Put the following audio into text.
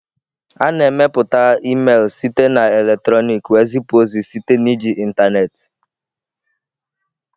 A na-emepụta email site na eletrọnịkị wee zipụ ozi site na iji ịntanetị.